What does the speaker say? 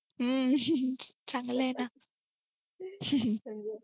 हा चांगले आहे ना